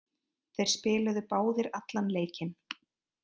Þeir spiluðu báðir allan leikinn.